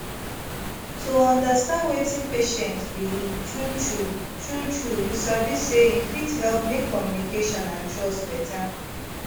to understand wetin patient believe truetrue truetrue you sabi say e fit help make communication and trust better